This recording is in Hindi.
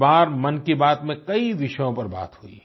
इस बार मन की बात में कई विषयों पर बात हुई